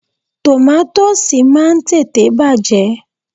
Tòmátósì máa ń tètè bàjẹ́.